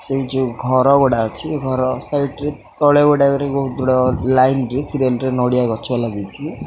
ସେହି ଯୋଉ ଘର ଗୁଡ଼ା ଅଛି ଘର ସାଇଟ ରେ ତଳେ ଗୋଟା କରି ବହୁତ୍ ବଡ ଲାଇନ ରେ ନଡିଆ ଗଛ ଲାଗିଚି।